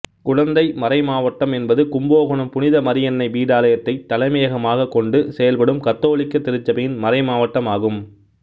குடந்தை மறைமாவட்டம் என்பது கும்பகோணம் புனித மரியன்னை பீடாலயத்தைத் தலைமையகமாக கொண்டு செயல்படும் கத்தோலிக்க திருச்சபையின் மறைமாவட்டம் ஆகும்